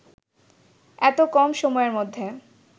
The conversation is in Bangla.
এত কম সময়ের মধ্যে